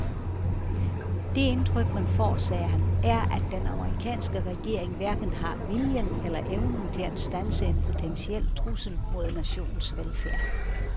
Det indtryk man får, sagde han, er at den amerikanske regering hverken har viljen eller evnen til at standse en potentiel trussel mod nationens velfærd.